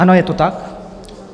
Ano, je to tak.